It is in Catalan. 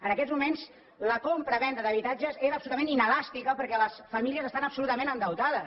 en aquests moments la compravenda d’habitatges és absolutament inelàstica perquè les famílies estan absolutament endeutades